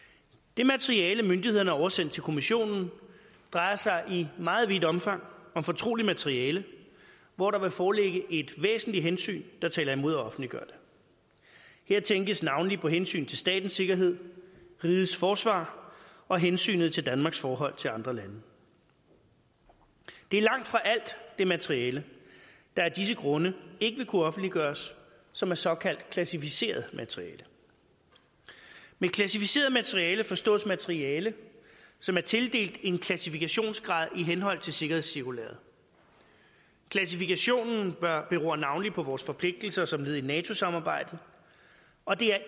det materiale myndighederne har oversendt til kommissionen drejer sig i meget vidt omfang om fortroligt materiale hvor der vil foreligge et væsentligt hensyn der taler imod at offentliggøre det her tænkes navnlig på hensyn til statens sikkerhed rigets forsvar og hensynet til danmarks forhold til andre lande det er langtfra alt det materiale der af disse grunde ikke vil kunne offentliggøres som er såkaldt klassificeret materiale med klassificeret materiale forstås materiale som er tildelt en klassifikationsgrad i henhold til sikkerhedscirkulæret klassifikationen beror navnlig på vores forpligtelser som led i nato samarbejdet og det